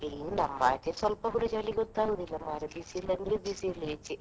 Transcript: ಇಲ್ಲಿ ನಮ್ಮಾಚೆ ಸ್ವಲ್ಪ ಕುಡಾ ಚಳಿ ಗೊತ್ತಾಗುದಿಲ್ಲ ಮರ್ರೆ ಬಿಸಿಲು ಅಂದ್ರೆ ಬಿಸಿಲೇ ಈಚೆ.